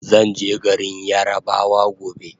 Zanje garin yarabawa gobe